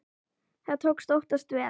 Það tókst oftast vel.